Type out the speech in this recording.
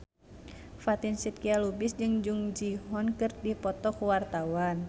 Fatin Shidqia Lubis jeung Jung Ji Hoon keur dipoto ku wartawan